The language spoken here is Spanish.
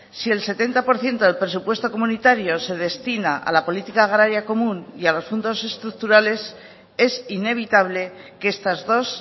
si el setenta por ciento del presupuesto comunitario se destina a la política agraria común y a los fondos estructurales es inevitable que estas dos